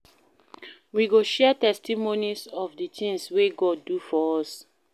We go share testimonies of di tins wey God do for us.